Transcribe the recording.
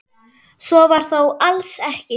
Svo var þó alls ekki.